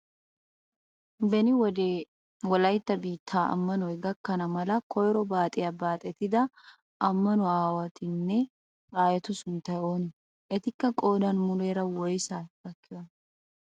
Beni wode wolaytta biitti ammanoy gakkana mala koyro baaxiyaa baaxettida ammanuwaa aawatunne aayetu sunttay oonee? Etikka qoodan muleera woysaa gakkiyoonaa?